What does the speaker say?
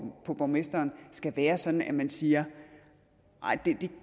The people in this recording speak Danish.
på borgmesteren skal være sådan at man siger nej